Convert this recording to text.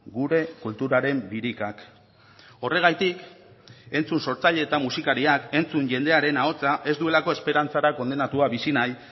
gure kulturaren birikak horregatik entzun sortzaile eta musikariak entzun jendearen ahotsa ez duelako esperantzara kondenatua bizi nahi